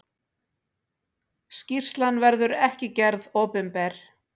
Skýrslan verður ekki gerð opinber.